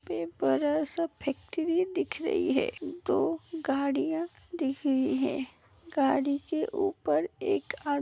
बड़ा सा फैक्ट्री दिख रही है दो गाड़ियां दिख रही हैं गाडी के ऊपर एक आ --